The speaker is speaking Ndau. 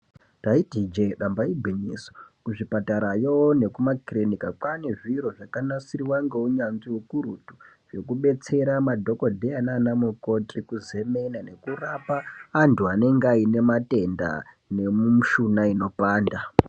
Taiti ijee kati igwinyiso kuzvipatarayo nekumakirinika kwaane zviro zvakanasirwa ngeunyanzvi hukurutu hwekubetsera madhokodheya nana mukoti kuzemena nekurapa antu anenge aine matenda nemushuna inopanda.